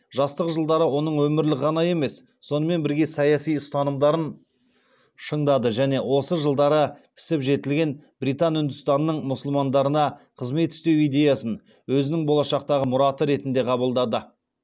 жастық жылдары оның өмірлік ғана емес сонымен бірге саяси ұстанымдарын шыңдады және осы жылдары пісіп жетілген британ үндістанының мұсылмандарына қызмет істеу идеясын өзінің болашақтағы мұраты ретінде қабылдады